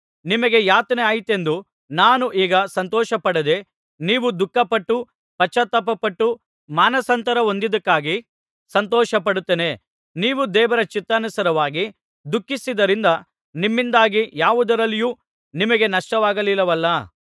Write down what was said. ನಿಮಗೆ ಯಾತನೆಯಾಯಿತೆಂದು ನಾನು ಈಗ ಸಂತೋಷಪಡದೆ ನೀವು ದುಃಖಪಟ್ಟು ಪಶ್ಚಾತ್ತಾಪಪಟ್ಟು ಮಾನಸಾಂತರ ಹೊಂದಿದ್ದಕ್ಕಾಗಿ ಸಂತೋಷಪಡುತ್ತೇನೆ ನೀವು ದೇವರ ಚಿತ್ತಾನುಸಾರವಾಗಿ ದುಃಖಿಸಿದ್ದರಿಂದ ನಮ್ಮಿಂದಾಗಿ ಯಾವುದರಲ್ಲಿಯೂ ನಿಮಗೆ ನಷ್ಟವಾಗಲಿಲ್ಲವಲ್ಲಾ